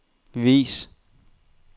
vis